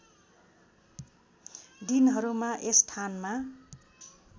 दिनहरूमा यस थानमा